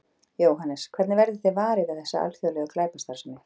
Jóhannes: Hvernig verðið þið varir við þessa alþjóðlegu glæpastarfsemi?